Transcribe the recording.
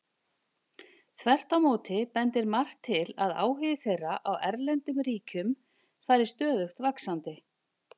Þvert á móti bendir margt til að áhugi þeirra á erlendum ríkjum fari stöðugt vaxandi.